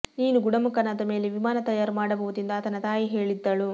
ನೀನು ಗುಣಮುಖನಾದ ಮೇಲೆ ವಿಮಾನ ತಯಾರು ಮಾಡಬಹುದು ಎಂದು ಆತನ ತಾಯಿ ಹೇಳಿದ್ದಳು